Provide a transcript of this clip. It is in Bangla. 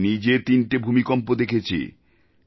আমি নিজে তিনটে ভূমিকম্প দেখেছি